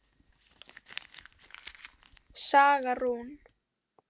Saga Rún.